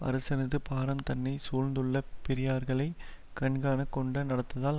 அரசனது பாரம் தன்னை சூழ்ந்துள்ள பெரியார்களைக் கண்கானக் கொண்ட நடத்ததால்